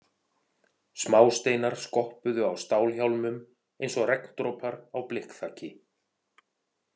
Smásteinar skoppuðu á stálhjálmum eins og regndropar á blikkþaki.